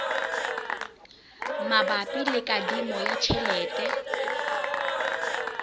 mabapi le kadimo ya tjhelete